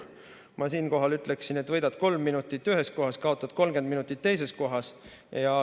Ma siinkohal ütleksin, et võidad kolm minutit ühes kohas, kaotad 30 minutit teises kohas.